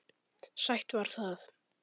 Sætt var það.